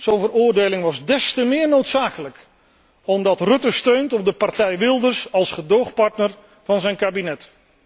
Zo'n veroordeling was des te meer noodzakelijk, omdat Rutte steunt op de partij Wilders als gedoogpartner van zijn kabinet.